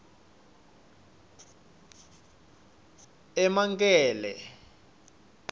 emankele